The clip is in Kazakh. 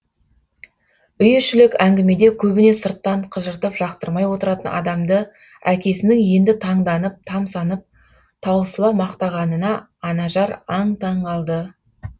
үй ішілік әңгімеде көбіне сырттан қыжыртып жақтырмай отыратын адамды әкесінің енді таңданып тамсанып таусыла мақтағанына анажар аң таң қалды